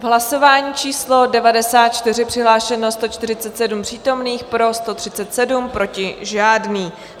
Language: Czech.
V hlasování číslo 94 přihlášeno 147 přítomných, pro 137, proti žádný.